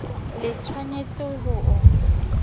le tsh wanetse ho o